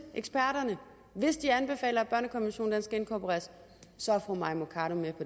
eksperterne hvis de anbefaler at børnekonventionen skal inkorporeres så er fru mai mercado med